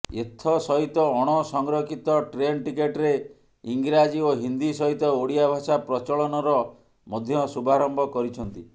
ଏଥସହିତ ଅଣସଂରକ୍ଷିତ ଟ୍ରେନ୍ ଟିକେଟରେ ଇଂରାଜୀ ଓ ହିନ୍ଦୀ ସହିତ ଓଡିଆ ଭାଷା ପ୍ରଚଳନର ମଧ୍ୟ ଶୁଭାରମ୍ଭ କରିଛନ୍ତି